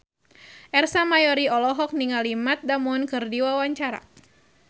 Ersa Mayori olohok ningali Matt Damon keur diwawancara